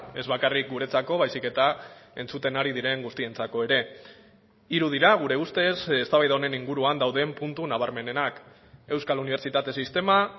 ez bakarrik guretzako baizik eta entzuten ari diren guztientzako ere hiru dira gure ustez eztabaida honen inguruan dauden puntu nabarmenenak euskal unibertsitate sistema